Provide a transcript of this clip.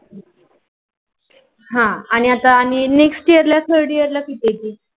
आह आनी आथा next year ला किती यती?